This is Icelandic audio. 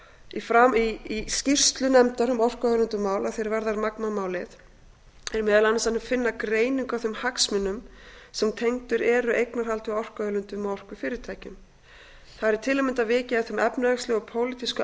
í skýrslu nefndar um orku og auðlindamál að því er varðar magma málið er meðal annars að eiga greiningu á þeim hagsmunum sem tengdir eru eignarhaldi á orkuauðlindum og orkufyrirtækjum þar er til að mynda vikið að þeim efnahagslegu og pólitísku